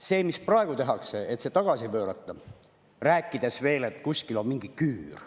See, mida praegu tehakse, et see tagasi pöörata, rääkides veel, et kuskil on mingi küür …